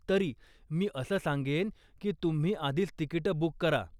तरी, मी असं सांगेन की तुम्ही आधीच तिकिटं बुक करा.